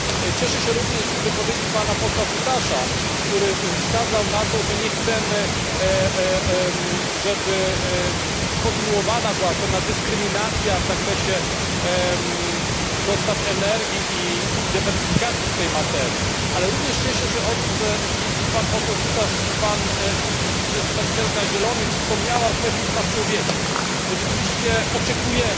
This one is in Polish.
Cieszę się również z wypowiedzi pana posła Cutaşa, który wskazał na to, że nie chcemy, żeby kontynuowana była pewna dyskryminacja w zakresie dostaw energii i dywersyfikacji w tej materii, ale również cieszę się z tego, że i pan poseł Cutaş, i przedstawicielka Zielonych wspomnieli o kwestii praw człowieka, bo rzeczywiście oczekujemy...